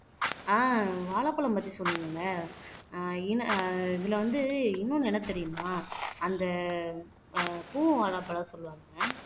ஆஹ் வாழைப்பழம் பத்தி சொன்னீங்க இல்ல ஆஹ் இன் இதுல வந்து இன்னொன்னு என்ன தெரியுமா அந்த ஆஹ் பூ வாழைப்பழம் சொல்லுவாங்க